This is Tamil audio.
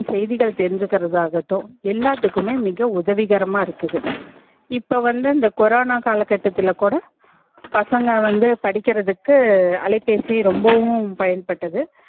நம்ப உடனுக்குடன் செய்திகள் தெரிஞ்சிகர் தாகட்டும் எல்லாத்துக்குமே மிக உதவி கரமா இருக்குது இப்போ வந்து இந்த கொரோனா கால கட்டத்துலக் கூட பசங்க வந்து படிகர்த்துக்கு அலைபேசி ரொம்பவும் பயன்ப்பட்டது